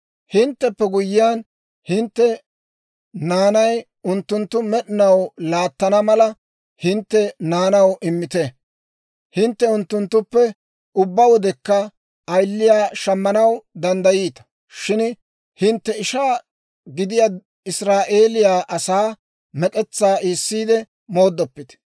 Hintteppe guyyiyaan hintte naanay unttuntta med'inaw laattana mala, hintte naanaw immite. Hintte unttunttuppe ubbaa wodekka ayiliyaa shammanaw danddayiita; shin hintte ishaa gidiyaa Israa'eeliyaa asaa mek'etsaa iisiide mooddoppite.